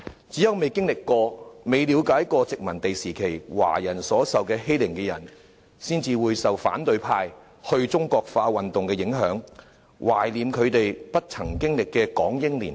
只有未經歷過、未了解過殖民地時期華人受盡欺凌的人，才會受反對派"去中國化"運動的影響，懷念他們不曾經歷的港英年代。